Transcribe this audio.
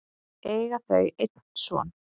eiga þau einn son.